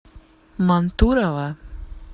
мантурово